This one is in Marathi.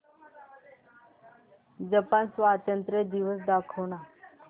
जपान स्वातंत्र्य दिवस दाखव ना